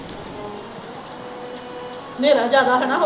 ਹਨੇਰ ਜ਼ਿਆਾਦਾ ਹੈ ਨਾ